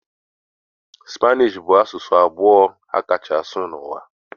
Spanishi bụ asụsụ abụọ a kacha asụ n'ụwa.